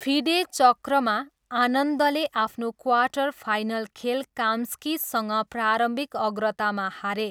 FIDE चक्रमा, आनन्दले आफ्नो क्वार्टर फाइनल खेल काम्स्कीसँग प्रारम्भिक अग्रतामा हारे।